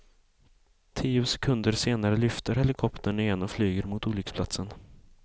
Tio sekunder senare lyfter helikoptern igen och flyger mot olycksplatsen.